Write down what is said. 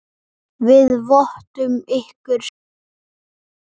Við vottum ykkur samúð okkar.